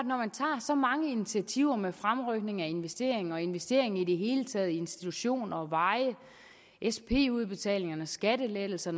når man tager så mange initiativer med fremrykning af investeringer og investeringer i det hele taget i institutioner og veje sp udbetaling og skattelettelser